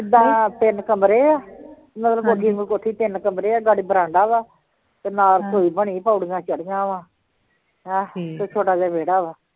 ਕਿਦਾ ਤਿੰਨ ਕਮਰੇ ਆ ਮਤਲਬ ਕੋਠੀ ਵਾਂਗੂੰ ਕੋਠੀ ਤਿੰਨ ਕਮਰੇ ਆ, ਨਾਲੇ ਵਰਾਂਡਾ ਵਾ ਤੇ ਨਾਲ ਰਸੋਈ ਬਣੀ ਪੌੜੀਆਂ ਚੜ੍ਹੀਆਂ ਵਾ ਹਾਂ ਇੱਕ ਛੋਟਾ ਜਿਹਾ ਵੇਹੜਾ ਵਾ